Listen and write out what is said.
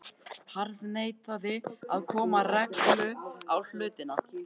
Harðneitaði að koma reglu á hlutina.